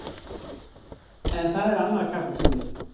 En það er annar kapítuli.